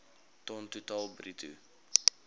ton totaal bruto